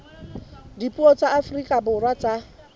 dipuo tsa afrika borwa tsa